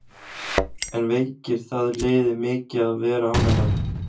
En veikir það liðið mikið að vera án hennar?